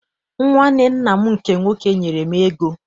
Nwanne nna m nke nwoke nyere m ego.